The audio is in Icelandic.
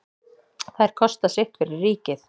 Þær kosta sitt fyrir ríkið.